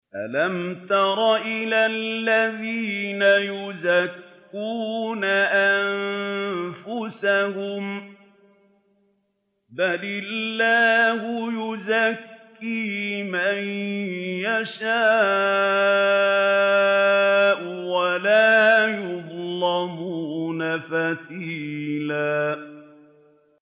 أَلَمْ تَرَ إِلَى الَّذِينَ يُزَكُّونَ أَنفُسَهُم ۚ بَلِ اللَّهُ يُزَكِّي مَن يَشَاءُ وَلَا يُظْلَمُونَ فَتِيلًا